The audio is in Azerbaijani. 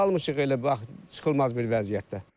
Qalmışıq elə bax, çıxılmaz bir vəziyyətdə.